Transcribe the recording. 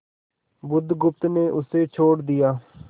बुधगुप्त ने उसे छोड़ दिया